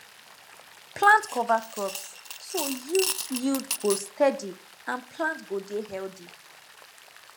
plant cover crops so yield yield go steady and plant go dey healthy